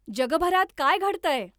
जगभरात काय घडतंय?